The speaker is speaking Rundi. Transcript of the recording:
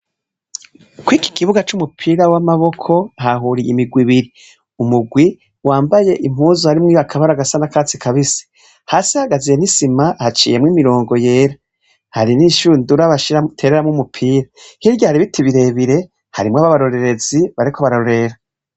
Kw'iki kibuga c' umupira w'amaboko hahuye imigwi ibiri, umugwi wambaye impuzu harimwo akabara gasa nakatsi kabisi hasi hagaze n'isima haciyemwo imirongo yera hari n'ishundura batereremwo umupira hirya hari ibiti bire bire harimwo abarorerezi bariko bararorera.